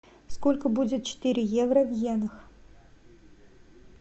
сколько будет четыре евро в йенах